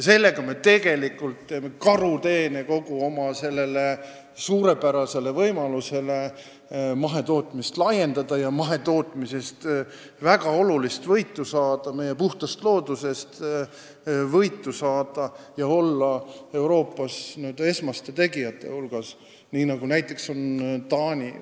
Sellega me teeme tegelikult karuteene oma suurepärasele võimalusele mahetootmist laiendada, saada väga olulist võitu mahetootmisest ja meie puhtast loodusest ning olla Euroopas n-ö esmaste tegijate hulgas, nii nagu näiteks on Taani.